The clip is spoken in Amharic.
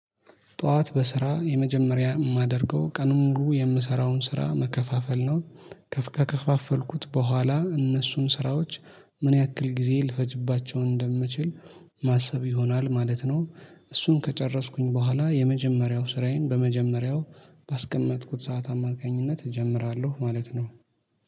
ጧት በስራ የመጀመሪያ የማደርገው ቀኑን ሙሉ የምሰራውን ስራ መከፋፈል ነው። ከከፋፈልኩት በኋላ እነሱን ስራዎች ምን ያክል ጊዜ ልፈጅባቸው እንደምችል ማሰብ ይሆናል ማለት ነው። እሱን ከጨረስኩኝ በኋላ የመጀመሪያው ስራዬን በመጀመሪያው ባስቀመጥኩት ሰዓት አማካኝነት እጀምራለሁ ማለት ነው።